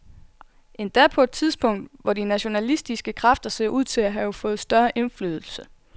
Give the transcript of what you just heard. Endda på et tidspunkt, hvor de nationalistiske kræfter ser ud til at have fået større indflydelse.